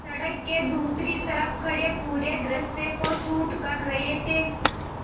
सड़क के दूसरी तरफ़ खड़े पूरे दृश्य को शूट कर रहे थे